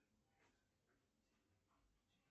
афина сделай стоп